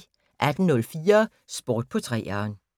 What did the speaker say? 18:04: Sport på 3'eren